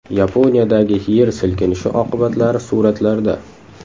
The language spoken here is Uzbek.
Yaponiyadagi yer silkinishi oqibatlari suratlarda.